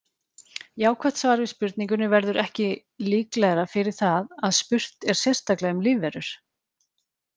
Jákvætt svar við spurningunni verður ekki líklegra fyrir það að spurt er sérstaklega um lífverur.